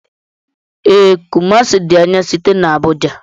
Ee, Kumasi di anya site n'Abuja